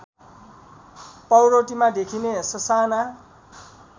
पाउरोटीमा देखिने ससाना